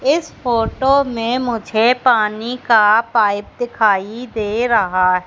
इस फोटो में मुझे पानी का पाइप दिखाई दे रहा--